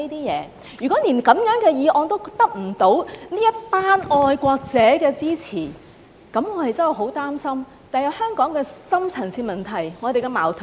如果連這樣的議案也得不到這群愛國者的支持，那麼我真的很擔心，日後怎樣解決香港的深層次問題和矛盾？